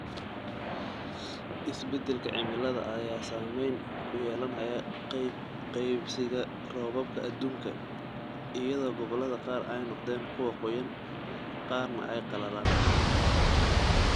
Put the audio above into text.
Isbeddelka cimilada ayaa saameyn ku yeelanaya qeybsiga roobabka adduunka, iyadoo gobollada qaar ay noqdeen kuwo qoyan, qaarna ay qallalaan.